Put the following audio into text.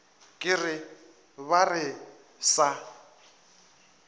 ke re ba re sa